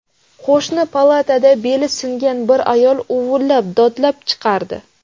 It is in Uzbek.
Qo‘shni palatada beli singan bir ayol uvullab, dodlab chiqardi.